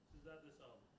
Sizə də can sağlığı.